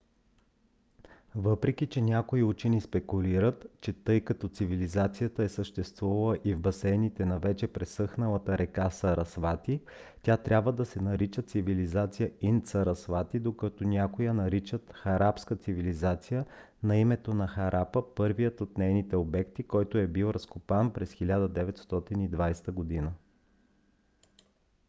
въпреки че някои учени спекулират че тъй като цивилизацията е съществувала и в басейните на вече пресъхналата река сарасвати тя трябва да се нарича цивилизация инд-сарасвати докато някои я наричат харапска цивилизация на името на харапа първият от нейните обекти който е бил разкопан през 1920 г